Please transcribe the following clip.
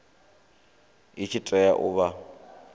i tshi tea u vha